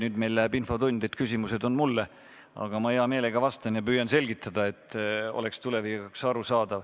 Nüüd meil läheb infotund nii, et küsimused on mulle, aga ma hea meelega vastan ja püüan selgitada, et oleks tulevikus arusaadav.